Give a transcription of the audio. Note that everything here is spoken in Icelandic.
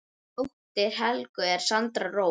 Dóttir Helgu er Sandra Rós.